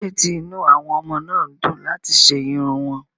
Kí ló dé tí inú àwọn ọmọ náà dùn láti ṣe irun wọn?